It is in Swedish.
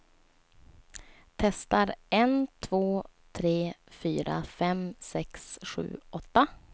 Testar en två tre fyra fem sex sju åtta.